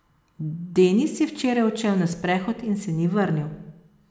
Denis je včeraj odšel na sprehod in se ni vrnil.